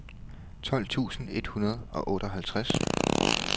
tolv tusind et hundrede og otteoghalvtreds